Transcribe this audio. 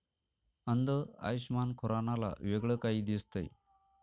अंध आयुषमान खुरानाला वेगळं काही दिसतंय!